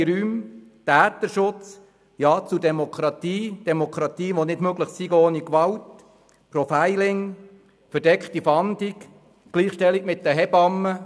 Rechtsfreie Räume, Täterschutz, Ja zu Demokratie, Demokratie, welche ohne Gewalt nicht möglich ist, Profiling, verdeckte Fahndung, Gleichstellung mit Hebammen;